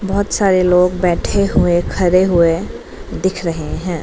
बहोत सारे लोग बैठे हुए खड़े हुए दिख रहे हैं।